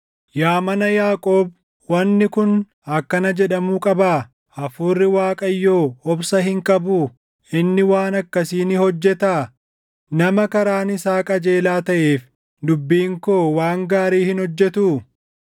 Yaa mana Yaaqoob, “Wanni kun akkana jedhamuu qabaa? Hafuurri Waaqayyoo obsa hin qabuu? Inni waan akkasii ni hojjetaa?” “Nama karaan isaa qajeelaa taʼeef dubbiin koo waan gaarii hin hojjetuu?